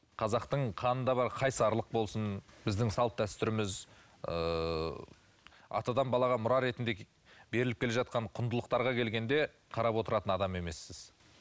қазақтың қанында бар қайсарлық болсын біздің салт дәстүріміз ыыы атадан балаға мұра ретінде беріліп келе жатқан құндылықтарға келгенде қарап отыратын адам емессіз